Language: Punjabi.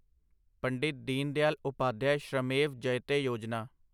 ਪੰਡਿਤ ਦੀਨਦਿਆਲ ਉਪਾਧਿਆਏ ਸ਼੍ਰਮੇਵ ਜਯਤੇ ਯੋਜਨਾ